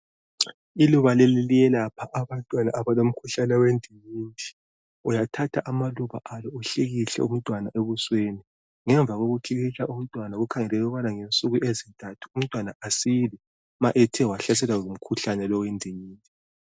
Iluba leli liyelapha abantwana abalomkhuhlane wendingindi. Uyathatha amaluba alo uhlikihle umntwana ebusweni. Ngemva kokuhlikihla umntwana kukhangelelwe ukubana ngensuku ezintathu umntwana asile ma ethe wahlaselwe ngumkhuhlane lo wendingindi.